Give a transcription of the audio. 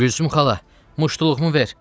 Gülsüm xala, muştuluğumu ver!